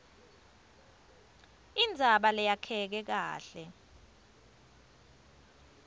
indzaba leyakheke kahle